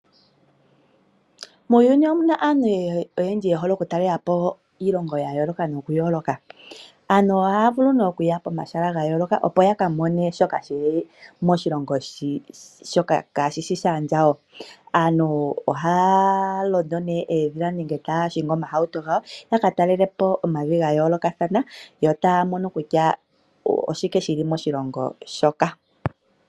Muuyuni omuna aantu oyendji ye hole oku talelapo iilongo yayoloka noku yoloka. Aantu ohaya vulu oku ya pomahala gayoloka opo yaka mone shoka shili moshilongo shoka kaashishi shandjawo. Aantu ohaya londo oodhila nenge taya hingi omahauto gawo yaka talelepo omavi gayolokathana yo taya mono kutya oshike shili moshilongo shoka.